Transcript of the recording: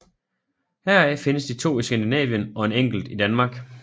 Heraf findes de to i Skandinavien og en enkelt i Danmark